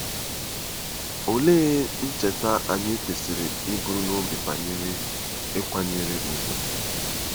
Olee ihe ncheta anyị kwesịrị iburu n’obi banyere ịkwanyere ùgwù?